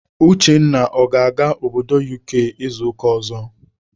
Uchenna ọ ga-aga obodo UK izu ụka ọzọ?